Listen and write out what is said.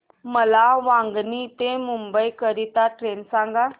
मला वांगणी ते मुंबई करीता ट्रेन सांगा